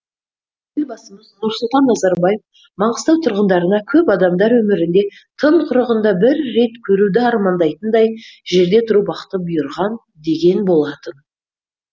елбасымыз нұрсұлтан назарбаев маңғыстау тұрғындарына көп адамдар өмірінде тым құрығанда бір рет көруді армандайтындай жерде тұру бақыты бұйырған деген болатын